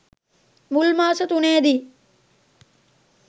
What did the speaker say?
මුල් මාස තුනේදි